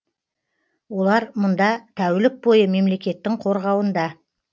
олар мұнда тәулік бойы мемлекеттің қорғауында